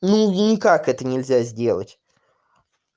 ну ну никак это нельзя сделать